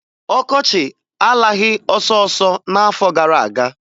Ọkọchị alaghị ọsọọsọ n'afọ gara aga.